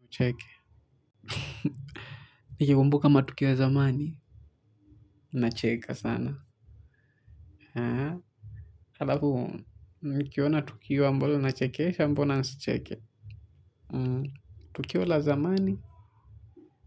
Nicheke. Nikikumbuka matukio ya zamani. Nacheka sana. Alafu, nikiona tukio ambalo linachekeesha, mbona nisicheke. Tukio la zamani.